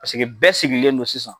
Pasiki bɛɛ sigilen do sisan.